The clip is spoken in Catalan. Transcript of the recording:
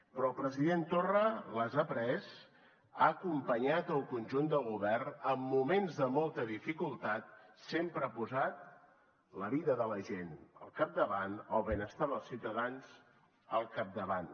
però el president torra les ha pres ha acompanyat el conjunt del govern en moments de molta dificultat sempre ha posat la vida de la gent al capdavant el benestar dels ciutadans al capdavant